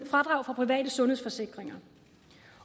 fradrag for private sundhedsforsikringer